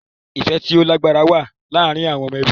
Ifẹ ti o lagbara wa laarin awọn ọmọ ẹbi